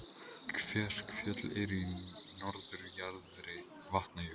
Kverkfjöll eru í norðurjaðri Vatnajökuls.